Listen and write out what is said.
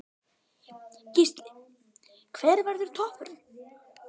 Gísli: Hver verður toppurinn?